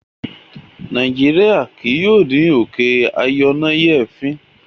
Nàìjíríà kì yóò ní òkè ayọnáyèéfín.